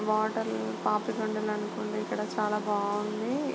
Water Papikondalu అనుకుంటా ఇక్కడ చాలా బాగుంది.